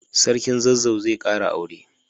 Sarkin zazzau zai kara aure.